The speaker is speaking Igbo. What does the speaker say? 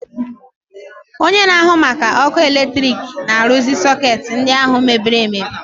Onye na-ahụ maka ọkụ eletrik na-arụzi sọketi ndi ahụ mebiri emebi.